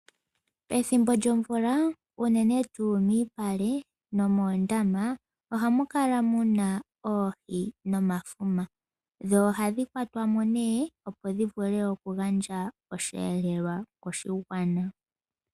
Pethimbo lyomvula unene tuu miipale no moondama ohamu kala muna oohi nomafuma, dho ohadhi kwatwa mo nee opo dhi vule okugandja oshihelelwa koshigwana.